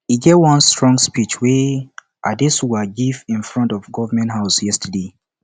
e get one strong speech wey adesuwa give in front of government house yesterday